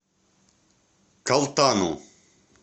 калтану